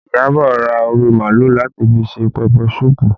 Iyabọ̀ ra orí màálù láti fi ṣe pẹpẹ suupu